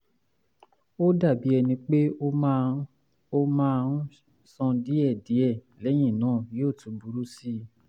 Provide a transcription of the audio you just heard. ó dàbí ẹni pé ó máa ó máa ń sàn díẹ̀díẹ̀ lẹ́yìn náà yóò tún burú sí i